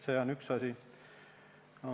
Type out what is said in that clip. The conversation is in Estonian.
See on üks asi.